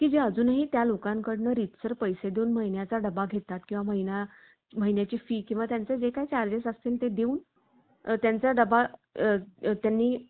की जे अजूनही त्या लोकांकडून रीतसर पैसे देऊन महिन्यांचा डबा घेतात किंवा महिना महिन्याची फी किंवा त्यांचे जे काही charges असतील ते देऊन त्यांचा डबा त्यांनीं